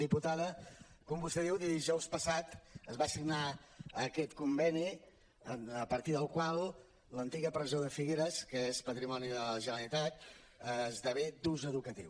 diputada com vostè diu dijous passat es va signar aquest conveni a partir del qual l’antiga presó de figueres que és patrimoni de la generalitat esdevé d’ús educatiu